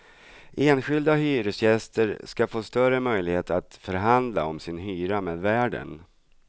Enskilda hyresgäster ska få större möjlighet att förhandla om sin hyra med värden.